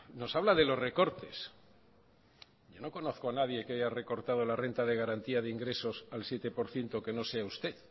nos habla de los recortes yo no conozco a nadie que haya recortado la renta de garantía de ingresos al siete por ciento que no sea usted